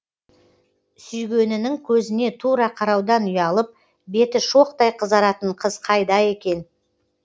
сүйгенінің көзіне тура қараудан ұялып беті шоқтай қызаратын қыз қайда екен